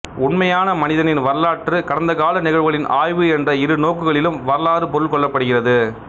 உண்மையான மனிதனின் வரலாறு கடந்தகால நிகழ்வுகளின் ஆய்வு என்ற இரு நோக்குகளிலும் வரலாறு பொருள் கொள்ளப்படுகிறது